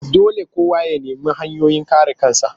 Dole kowa ya nemi hanyoyin kare kansa